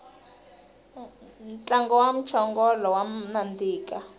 ntlangu wa mchongolo wa nandika